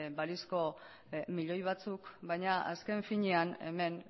balizko milioi batzuk baina azken finean hemen